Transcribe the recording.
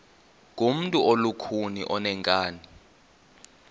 ngumntu olukhuni oneenkani